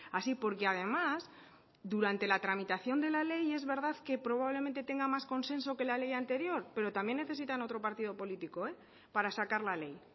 así porque además durante la tramitación de la ley es verdad que probablemente tenga más consenso que la ley anterior pero también necesitan otro partido político para sacar la ley